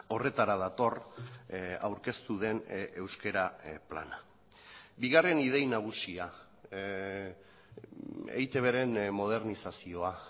horretara dator aurkeztu den euskera plana bigarren idei nagusia eitbren modernizazioa